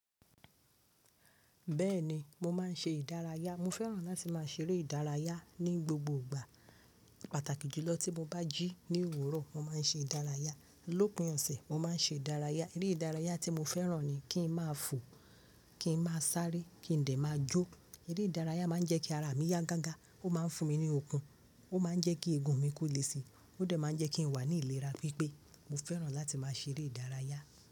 Bẹ́ẹ̀ni, mo máa ń ṣe ìdárayá. Mo fẹ́ràn láti máa ṣeré ìdárayá ní gbogbo ìgbà. Pàtàkì jùlọ tí mo bá jí ní òwúrọ̀, mo máa ń ṣe ìdárayá. Lópin ọ̀sẹ̀, mo máa ń ṣe ìdárayá. Eré ìdárayá tí mo fẹ́ràn ni kí n máa fò, kí n máa sáré, kí n dè máa jó. Eré ìdárayá máa ń jẹ́ kí ara mi yá gaga. Ó máa ń fún mi ní okun. Ó máa ń jẹ́ kí eegun mi kó lè si. Ó dè máa ń jẹ́ kí n wà ní ìlera pípé. Mo fẹ́ràn láti máa ṣeré ìdárayá.